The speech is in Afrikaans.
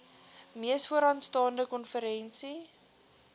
mees vooraanstaande konferensie